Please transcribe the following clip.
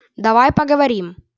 давай поговорим